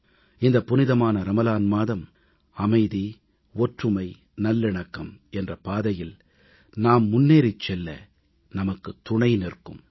இந்த புனிதமான ரமலான் மாதம் அமைதி ஒற்றுமை நல்லிணக்கம் என்ற பாதையில் நாம் முன்னேறிச் செல்ல நமக்கு துணை இருக்கும்